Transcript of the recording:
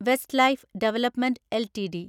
Westlife development LTD